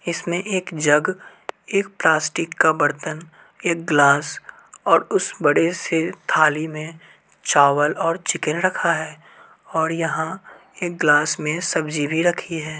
इसमें एक जग एक प्लास्टिक का बर्तन एक ग्लास और उस बड़े से थाली में चावल और चिकन रखा है और यहां एक ग्लास में सब्जी भी रखी है।